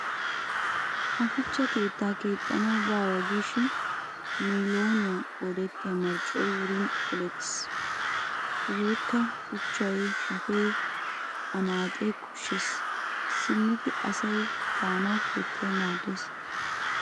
Ha shuchcha keettaa kexxanawu baawa giishin miiloniyan qoodettiya marccoy wurin polettiis. Hegeekka, shuchay, shafee, anaaxee koshshees. Simmidi asay de'anawu keettay maaddees.